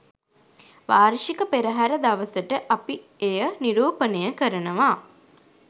වාර්ෂික පෙරහර දවසට අපි එය නිරූපණය කරනවා